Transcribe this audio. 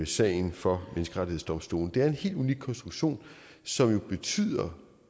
sagen for menneskerettighedsdomstolen det er en helt unik konstruktion som jo betyder